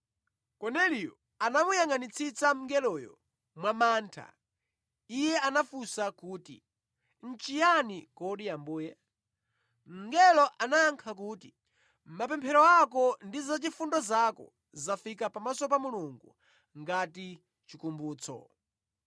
Korneliyo anamuyangʼanitsitsa mngeloyo mwa mantha. Iye anafunsa kuti, “Nʼchiyani kodi Ambuye?” Mngelo anayankha kuti, “Mapemphero ako ndi zachifundo zako zafika pamaso pa Mulungu ngati chikumbutso.